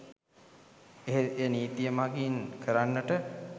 එහෙත් එය නීතිය මඟින් කරන්නට